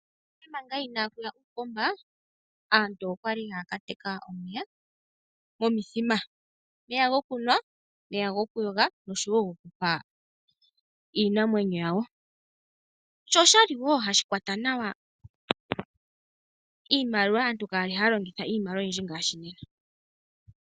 Nale nale manga inaaku ya uupomba aantu oya li haya ka teka omeya momithima. Omeya gokunwa, omeya gokuyoga noshowo omeya gokupa iinamwenyo yawo. Sho osha li wo hashi kwata nawa iimaliwa, aantu kaya li haya longitha iimaliwa oyindji ngaashi nena.